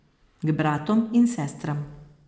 K bratom in sestram.